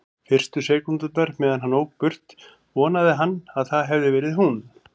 Fyrstu sekúndurnar meðan hann ók burt vonaði hann að það hefði verið hún.